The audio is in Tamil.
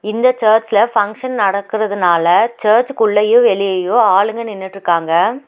இந்த சர்சுல ஃபங்க்ஷன் நடக்குறதுனால சர்ச்சுக்குள்ளயு வெளியையு ஆளுங்க நின்னுட்ருக்காங்க.